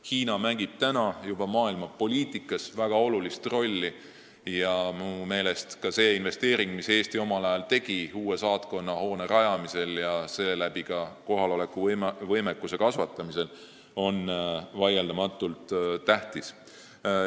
Hiina mängib praegu maailmapoliitikas väga olulist rolli ja minu meelest on see investeering, mille Eesti omal ajal tegi uue saatkonnahoone rajamiseks ja seeläbi ka kohaloleku võimekuse kasvatamiseks, vaieldamatult tähtis.